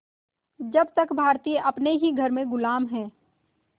जब तक भारतीय अपने ही घर में ग़ुलाम हैं